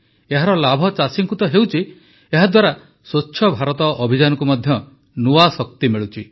ଏହାର ଲାଭ ଚାଷୀଙ୍କୁ ତ ହେଉଛି ଏହାଦ୍ୱାରା ସ୍ୱଚ୍ଛ ଭାରତ ଅଭିଯାନକୁ ମଧ୍ୟ ନୂଆ ଶକ୍ତି ମିଳୁଛି